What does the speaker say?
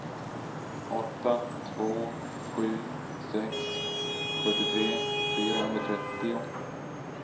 åtta två sju sex sjuttiotre fyrahundratrettio